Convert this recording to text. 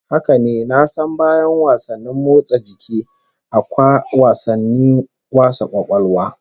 Haka ne, na san bayan wasanni motsa jiki akwa wasannin wasa kwakwalwa